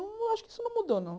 Eu acho que isso não mudou, não.